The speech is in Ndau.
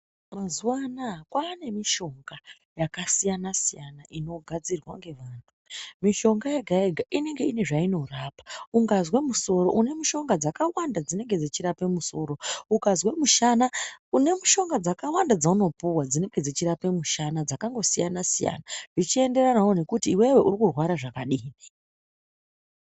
Mazuva anaya kwane mishonga yakasiyana-siyana, inogadzirwa ngevantu. Mishonga yega-yega inenge iine zvainorapa ungazwe musoro une mishonga dzakawanda dzekurape musoro. Uzwe mushana une mishonga dzakawanda dzaunopuva dzinenge dzichira mushana dzakangosiyana-siyana, zvichienderanavo nekuti iwewe urikurwara zvakadini.